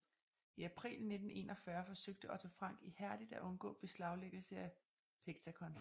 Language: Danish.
I april 1941 forsøgte Otto Frank ihærdigt at undgå beslaglæggelse af Pectacon